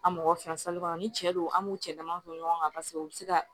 An mɔgɔ fila kɔnɔ ni cɛ don an b'u cɛ dama to ɲɔgɔn kan paseke u bɛ se ka